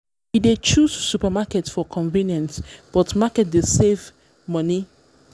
we dey choose supermarket for convenience but market dey save money.